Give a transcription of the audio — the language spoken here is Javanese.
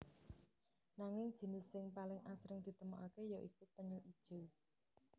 Nanging jinis sing paling asring ditemokaké ya iku penyu ijo